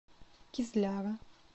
кизляра